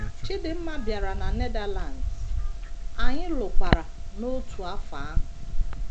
Chidinma bịara na Netherlands, anyị lụkwara n’otu afọ ahụ.